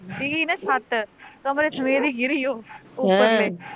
ਡਿੱਗੀ ਨਾ ਛੱਤ, ਕਮਰੇ ਸਮੇਤ ਈ ਗਿਰੀ ਉਹ ਅਹ ਉੱਪਰ ਤੇ